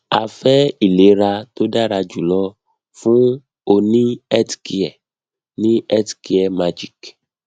a fe ilera to dara julo fun o ni healthcare ni healthcare magic